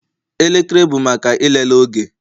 Elekere bụ maka ịlele oge